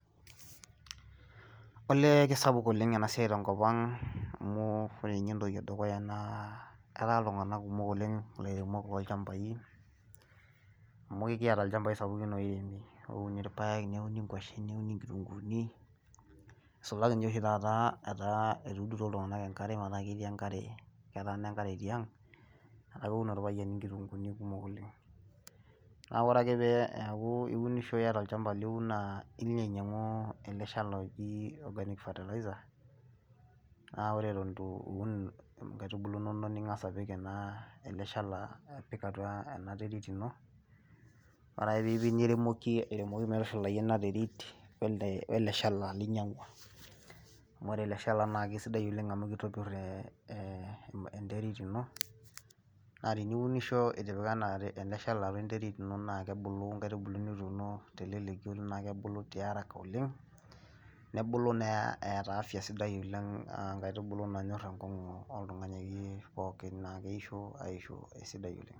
Olee kisapuk oleng enaa siai teekop ang amu wore ninye entoki edukuya naa etaa iltunganak kumuk oleng ilairemok loochampai amu ekiyiata ilchampai sapukun oiremi ouni irpayiek, niuni nguashen , niuni ngitunguuni nisulaki ninye oshi taata etuudutuo iltunganak enkare metaa ketii enkare , keetaana enkare tiang , niaku keun orpayian ingitunguni kumok oleng. Niaku wore ake peeyaku iunisho , iyata olchampa liun , naa ilo ainyangu ele shala oji organic fertilizer , naa wore enton itu eun ingaitubulu inonok ningas apik ele shala , apik atua enaterit ino , wore ake piipik niremoki airemoki metushulata ena terit wele shala linyangua, amu wore ele shala kisidai oleng amu kitopir eee enterit ino , naa tiniunisho itipika ele shala enterit naa kebulu ingaitubulu nituuno teleleki naa kebulu tiaraka oleng , nebulu naa eeta cd afya cs sidai oleng , ngaitubulu naanyor enkogu oltungani akeyie , naa keisho aisho esidai oleng.